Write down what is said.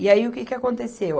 E aí, o que que aconteceu?